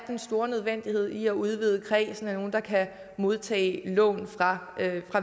den store nødvendighed i at udvide kredsen af dem der kan modtage lån fra